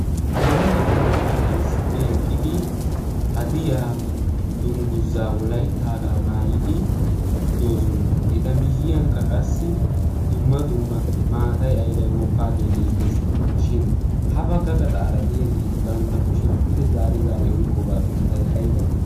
yeelagati maaraara issippe eqqidi hadiyaa dungguzzaa wolaittaagaa maayidi doosona eta miyyiyankka qassi dumma dumma maatai aibai mokkaagee beettees shin ha bagga gaxaara diya geeti bantta kushiyan pude zaari zaari oyqqoogaa sunttay aybay?